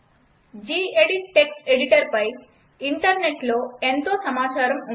G gedit ఎడిటర్పై ఇంటర్నెట్లో ఎంతో సమాచారం ఉంది